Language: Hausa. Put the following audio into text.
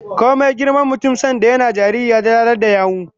Komai girman mutum, sanda yana jariri ya dalalar da yawu